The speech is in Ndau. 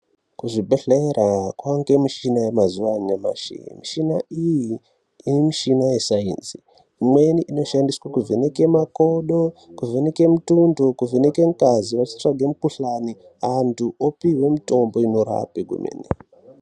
Kuzvibhedhlera kunowanikwa mushina yemazuwa anyamushi. Mushina iyi mushina yesaenzi, imweni inoshandiswa kuvheneka makodo, kuvheneka mutundo, kuvheneka ngazi echitsvaga mukhuhlani. Antu opihwa mutombo unorapa kwemene.